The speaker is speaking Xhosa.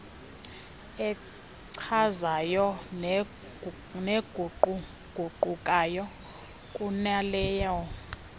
echazayo neguquguqukayo kunaleyo